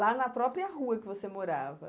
Lá na própria rua que você morava?